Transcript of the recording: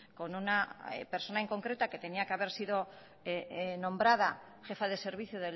con una persona en concreto que tenía que haber sido nombrada jefa de servicio